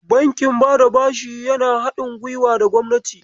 Bankin bada bashi yana haɗin guiwa da gwamnati.